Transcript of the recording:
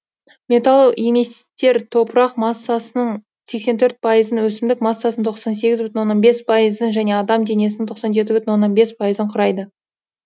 металл еместер топырақ массасының сексен төрт пайызын өсімдік массасының тоқсан сегіз бүтін оннан бес пайызын және адам денесінің тоқсан жеті бүтін оннан бес пайызын құрайды